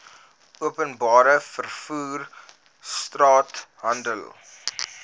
openbare vervoer straathandel